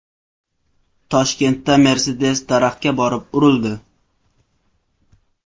Toshkentda Mercedes daraxtga borib urildi.